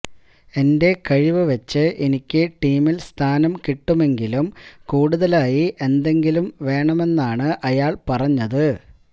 എന്റെ കഴിവ് വച്ച് എനിക്ക് ടീമിൽ സ്ഥാനം കിട്ടുമെങ്കിലും കൂടുതലായി എന്തെങ്കിലും വേണമെന്നാണ് അയാൾ പറഞ്ഞത്